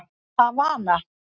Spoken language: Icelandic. Havana